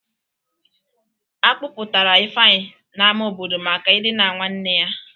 A kpụpụtara Ifeanyị n'ama obodo maka idina nwanne ya.